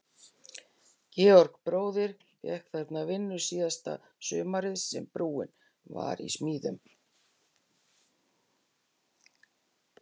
Georg bróðir fékk þarna vinnu síðasta sumarið sem brúin var í smíðum.